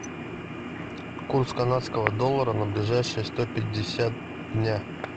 курс канадского доллара на ближайшие сто пятьдесят дня